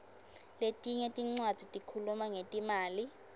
letinye tincwadzi tikhuluma ngetimali